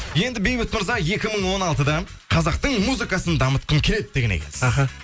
енді бейбіт мырза екі мың он алтыда қазақтың музыкасын дамытқым келеді деген екенсіз аха